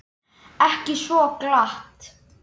Ekki svo glatt.